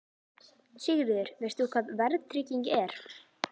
Sigríður: Veist þú hvað verðtrygging er?